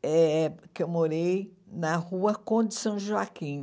é porque eu morei na rua Conde São Joaquim,